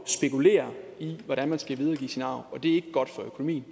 spekulere i hvordan man skal videregive sin arv og det er ikke godt for økonomien